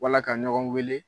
Wala ka ɲɔgɔn weele